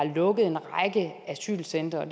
lukket en række asylcentre